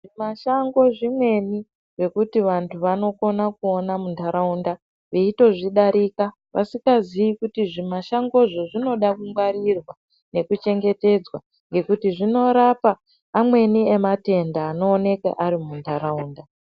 Zvi mashango zvimweni zvekuti vantu vanokona kuona mu ndaraunda veitozvi darika vasikazii kuti zvi mashango izvi zvinoda ku ngwarirwa neku chengetedzwa ngekuti zvino rapa amweni ematenda ano oneka ari mu ndaraunda.